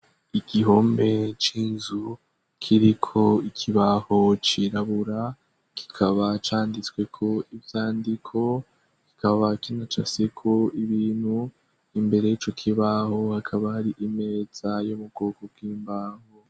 Igihombe c'inzu kiri ko ikibaho cirabura kikaba canditsweko ivyandiko kikaba kina ca seko ibinu imbere yico kibaho hakabari imeza yo mu bwoko bw'imbaho.